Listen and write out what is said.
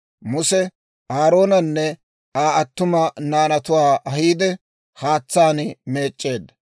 Muse Aaroonanne Aa attuma naanatuwaa ahiide, haatsaan meec'c'eedda.